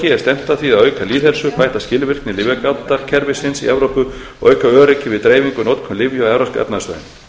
er stefnt að því að auka lýðheilsu bæta skilvirkni lyfjagátarkerfisins í evrópu og auka öryggi við dreifingu og notkun lyfja á evrópska efnahagssvæðinu